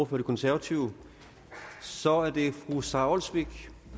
for de konservative så er det fru sara olsvig